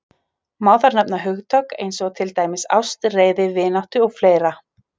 Má þar nefna hugtök eins og til dæmis ást, reiði, vináttu og fleira.